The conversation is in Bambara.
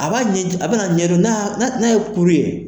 A b'a ɲɛji a bɛna ɲɛdɔn n'a ye kuru ye.